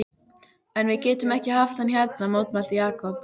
En við getum ekki haft hann hérna mótmælti Jakob.